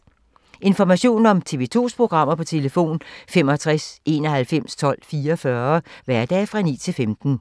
Information om TV 2's programmer: 65 91 12 44, hverdage 9-15.